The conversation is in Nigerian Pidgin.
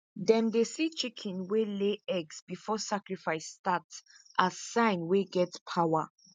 them dey see chicken wey lay eggs before sacrifice start as sign wey get power